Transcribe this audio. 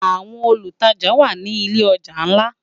Áwòn ólútàjá wá ni ilé òjá nlá